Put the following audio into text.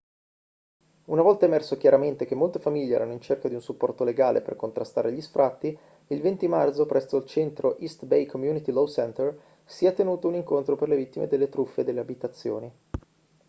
una volta emerso chiaramente che molte famiglie erano in cerca di un supporto legale per contrastare gli sfratti il 20 marzo presso il centro east bay community law center si è tenuto un incontro per le vittime delle truffe delle abitazioni